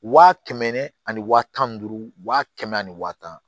Waa kɛmɛ ani waa tan ni duuru wa kɛmɛ ni wa tan